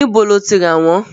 Níbo ni o ti rà wọ́n?